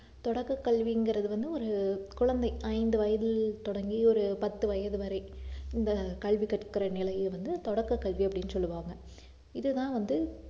தொடக்கக் கல்விங்கிறது வந்து ஒரு குழந்தை ஐந்து வயதில் தொடங்கி ஒரு பத்து வயது வரை இந்த கல்வி கற்கிற நிலையை வந்து தொடக்கக் கல்வி அப்படின்னு சொல்லுவாங்க இதுதான் வந்து